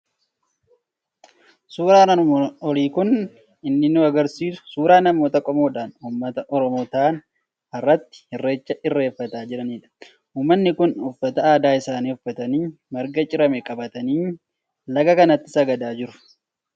Suuraan armaan olii kan inni nu argisiisu suuraa namoota qomoodhaan Uummata Oromoo ta'an, haratti irreecha irreeffataa jiranidha. Uummatni kun uffata aadaa isaanii uffatanii, marga cirame qabatanii laga kanatti sagadaa jiru.